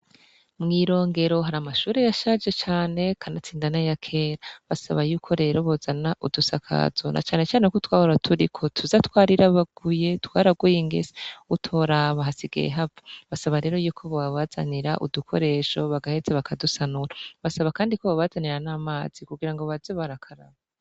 Mwi Rongero hari amashure yashaje cane kanatsinda naya kera, basaba yuko rero bozana udusakazo na cane cane ko utwahora turiko tuza twarirabaguye, twaraguye ingese utoraba, hasigaye hava, basaba rero yuko bobazanira udukoresho bagaheza bakadusanura, basaba kandi ko bobazanira n'amazi kugira baze barakaraba.